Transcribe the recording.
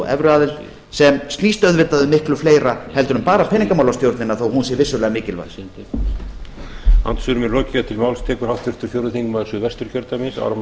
evruaðild sem snýst auðvitað um miklu fleira heldur en bara peningamálastjórnina þó hún sé vissulega mikilvæg